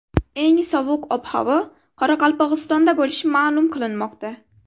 Eng sovuq ob-havo Qoraqalpog‘istonda bo‘lishi ma’lum qilinmoqda.